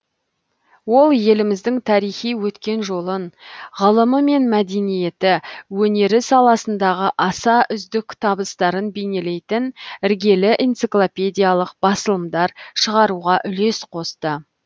ол еліміздің тарихи өткен жолын ғылымы мен мәдениеті өнері саласындағы аса үздік табыстарын бейнелейтін іргелі энциклопедиялық басылымдар шығаруға үлес косты